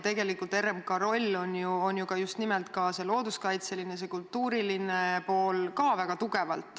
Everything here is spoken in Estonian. Tegelikult on RMK rollil ka väga tugevalt just nimelt looduskaitseline ja kultuuriline pool.